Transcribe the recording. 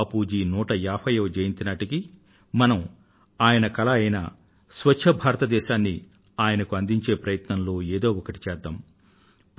బాపూ జీ 150వ జయంతి నాటికి మనం ఆయన కలా అయిన స్వచ్ఛ భారతదేశాన్ని ఆయనకు అందించే ప్రయత్నంలో ఏదో ఒకటి చేద్దాం